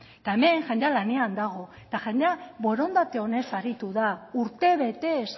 eta hemen jendea lanean dago eta jendea borondate onez aritu da urtebetez